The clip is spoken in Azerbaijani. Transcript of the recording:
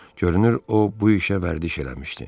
Görünür, o bu işə vərdiş eləmişdi.